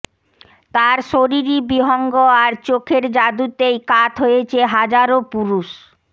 তার শরীরী বিহঙ্গ আর চোখের জাঁদুতেই কাত হয়েছে হাজারো পুরুষ